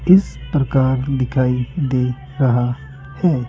इस प्रकार दिखाई दे रहा है।